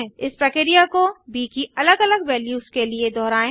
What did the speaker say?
इस प्रक्रिया को ब की अलग अलग वैल्यूस के लिए दोहराएँ